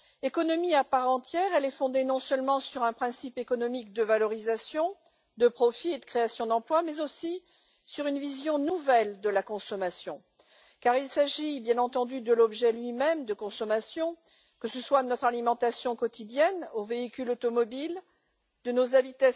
Économie à part entière, elle est fondée non seulement sur un principe économique de valorisation, de profits et de création d'emplois, mais aussi sur une vision nouvelle de la consommation, car il s'agit bien entendu de l'objet lui même de consommation, de notre alimentation quotidienne aux véhicules automobiles, en passant par